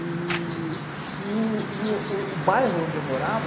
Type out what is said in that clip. E o bairro onde eu morava,